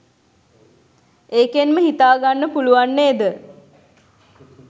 ඒකෙන්ම හිතාගන්න පුළුවන් නේද